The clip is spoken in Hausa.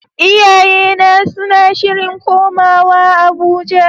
Iyayena suna shirin komawa Abuja.